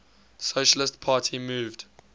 socialist party moved